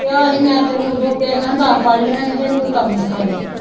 ਕਿਹਾ ਸੀ ਮੈਂ ਤੇ ਓਹਨੂੰ ਓਦੋਂ ਕਿਹਾ ਸੀ ਮੈਂ ਕਿਹਾ ਦੱਸ ਪੜ ਲਈਆਂ ਨੇ ਤੇ ਇਹਨੂੰ ਕੋਈ ਕੰਮ ਸਿਖਾਦੇ।